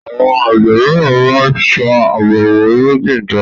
Àwọn àgbẹ míràn má ṣa Àwọn irúgbìn jọ.